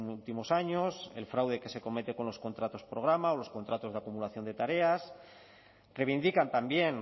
últimos años el fraude que se comete con los contratos programa o los contratos de acumulación de tareas reivindican también